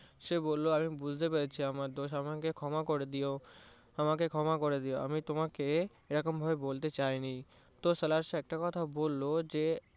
সে বললো আমি বুজতে পেরেছি আমার দোষ আমাকে ক্ষমা করে দিও, আমাকে ক্ষমা করে দিও আমি তোমাকে এরম ভাবে বলতে চাইনি তো সাহেব একটা কথা বললো যে